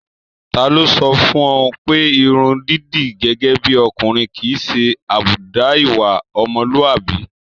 Tálọ́ sọ fún un pé irun dídì gẹ́gẹ́ bí ọkùnrin kì í ṣe àbùdá ìwà ọmọlúàbí.